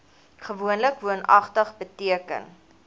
gewoonlik woonagtig beteken